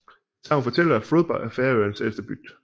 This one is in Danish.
Et sagn fortæller at Froðba er Færøernes ældste bygd